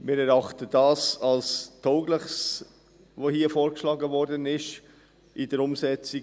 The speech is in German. Wir erachten das, was hier in der Umsetzung für das Ganze vorgeschlagen wurde, als tauglich.